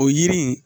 O yiri in